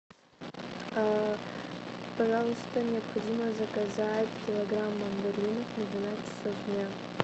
пожалуйста необходимо заказать килограмм мандаринов на двенадцать часов дня